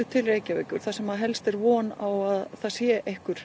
til Reykjavíkur þar sem helst er von á að það sé einhver